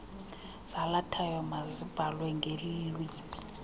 zalathayo mazibhalwe ngeelwimi